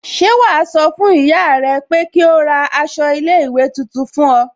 Ṣẹ́ wàá sọ fún ìyá rẹ pé kí ó ra aṣọ iléèwé tuntun náà fún ọ